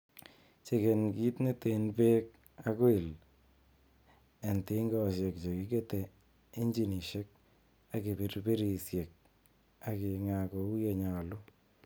Cheken kit neten beek ak oil en tingosiek chekikete injinisiek ak kipirpirisiek ak ingaa kou ye nyolu.